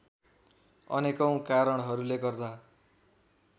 अनेकौं कारणहरूले गर्दा